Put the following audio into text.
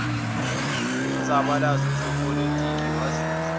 umzabalazo wezepolitiki wazuza